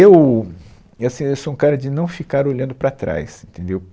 Eu e assim, eu sou um cara de não ficar olhando para trás, entendeu?